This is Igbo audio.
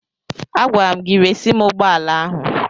Agwara m gị resi m ụgbọala ahụ!